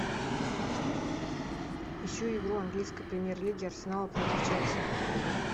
ищу игру английской премьер лиги арсенал против челси